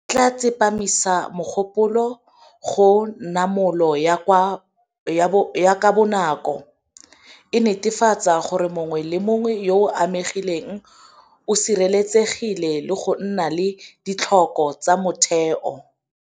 E tla tsepamisa mogopolo go namolo ya ka bonako ya batho, e netefatsa gore mongwe le mongwe yo o amegileng o sireletsegile le go nna le ditlhoko tsa motheo.